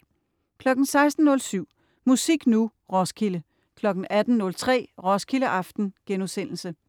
16.07 Musik Nu! Roskilde 18.03 Roskilde aften*